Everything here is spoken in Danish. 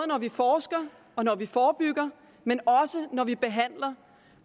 når vi forsker og når vi forebygger men også når vi behandler